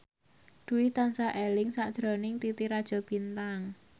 Dwi tansah eling sakjroning Titi Rajo Bintang